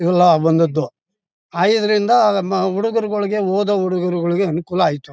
ಇವೆಲ್ಲ ಬಂದದ್ದು ಐದರಿಂದ ನಮ್ಮ ಹುಡುಗರುಗಳಿಗೆ ಓದೋ ಹುಡುಗರರುಗಳಿಗೆ ಅನುಕೂಲವಾಯಿತು.